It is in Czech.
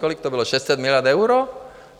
Kolik to bylo, 600 miliard eur?